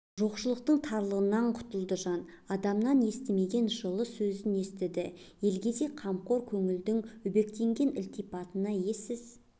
жоқшылықтың тырнағынан құтылды жан адамнан естімеген жылы сөзін естіді елгезек қамқор көңілдің өбектеген ілтипатына ессіз